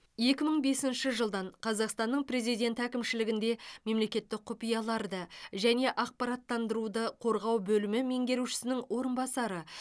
екі мың бесінші жылдан қазақстанның президенті әкімшілігінде мемлекеттік құпияларды және ақпараттандыруды қорғау бөлімі меңгерушісінің орынбасары